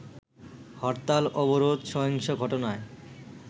হরতাল-অবরোধ, সহিংস ঘটনায়